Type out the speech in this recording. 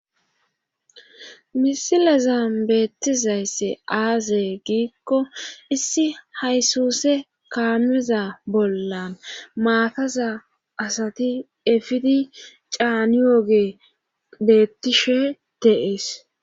misilezan beettizaysse aazee giikko issi haysuuse kaameza bollan maataza asati efidi caaniyoogey beettishe de'es